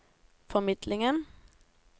formidlingen